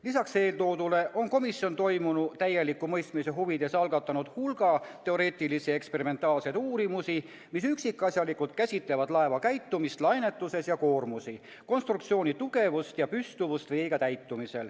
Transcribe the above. Lisaks eeltoodule on komisjon toimunu täieliku mõistmise huvides algatanud hulga teoreetilisi ja eksperimentaalseid uurimusi, mis üksikasjalikult käsitlevad laeva käitumist lainetuses ja koormusi, konstruktsiooni tugevust ja püstuvust veega täitumisel.